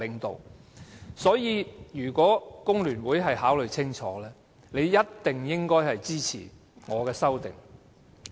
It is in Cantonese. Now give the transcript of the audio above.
因此，如果工聯會考慮清楚，他們應該一定會支持我的修正案。